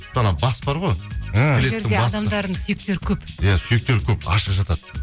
сол анау бас бар ғой адамдардың сүйектері көп иә сүйектері көп ашық жатады